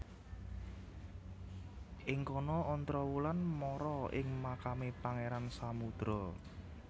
Ing kono Ontrowulan mara ing makame Pangeran Samudro